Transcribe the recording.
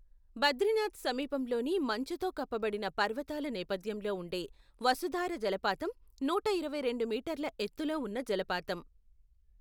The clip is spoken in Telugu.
బద్రీనాథ్ సమీపంలోని మంచుతో కప్పబడిన పర్వతాల నేపథ్యంలో ఉండే వసుధార జలపాతం నూట ఇరవై రెండు మీటర్ల ఎత్తులో ఉన్న జలపాతం.